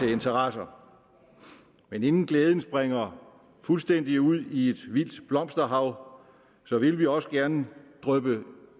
interesser men inden glæden springer fuldstændig ud i et vildt blomsterflor vil vi også gerne dryppe